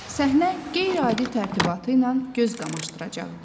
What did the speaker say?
Səhnə qeyri-adi tərtibatı ilə göz qamaşdıracaqdı.